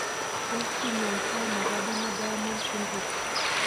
Tos kinyaita ano Gardner Diamond syndrome?